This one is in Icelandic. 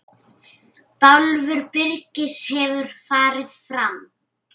Bálför Birgis hefur farið fram.